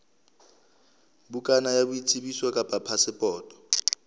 bukana ya boitsebiso kapa phasepoto